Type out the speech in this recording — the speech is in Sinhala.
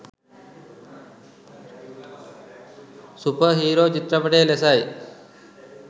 සුපර් හීරෝ චිත්‍රපටය ලෙසයි